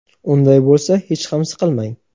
Unday bo‘lsa hech ham siqilmang.